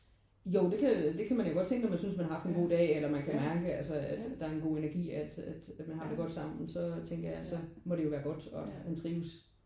Jo det kan det kan man jo godt tænke hvis man synes man har haft en god dag eller man kan mærke altså at der er en god energi at at man har det godt sammen. Så tænker jeg så må det jo være godt og at han trives